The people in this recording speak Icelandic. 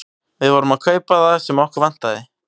Við vorum að kaupa það sem okkur vantaði.